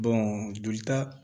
jolita